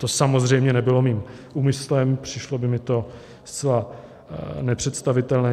To samozřejmě nebylo mým úmyslem, přišlo by mi to zcela nepředstavitelné.